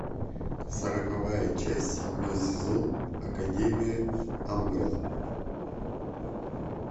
сороковая часть седьмой сезон академия амбрелла